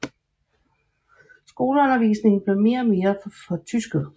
Skoleundervisningen blev mere og mere fortysket